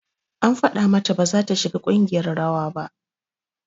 An faɗa mata baza ta shiga ƙungiyar rawa ba